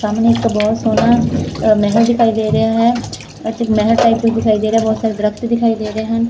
ਸਾਮਣੇ ਇਕ ਬਹੁਤ ਸੋਹਣਾ ਮਹੱਲ ਦਿਖਾਈ ਦੇ ਰਿਹਾ ਹੈ ਅਤੇ ਮਹੱਲ ਟਾਈਪ ਕੁਛ ਦਿਖਾਈ ਦੇ ਰੇਯਾ ਹੈ ਬਹੁਤ ਸਾਰੇ ਦਰਖਤ ਦਿਖਾਈ ਦੇ ਰਹੇ ਹਨ।